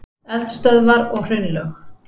Eldstöðvar og hraunlög.